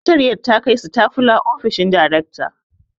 Sakatariyar ta kai sitafula ofishin darekta